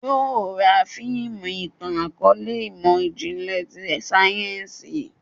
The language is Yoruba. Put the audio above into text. Yóò ra fiimu itan-akọọlẹ imọ-jinlẹ ti sáyẹ́nsì